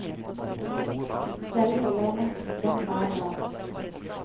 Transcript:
Selv holder jeg messe for dem hver dag.